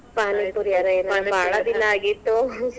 ಪಾನಿಪುರಿ ಆಗಿತ್ತು .